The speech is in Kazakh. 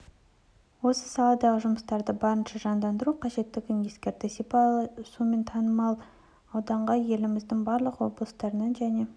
осы саладағы жұмыстарды барынша жандандыру қажеттігін ескертті шипалы суымен танымал ауданға еліміздің барлық облыстарынан және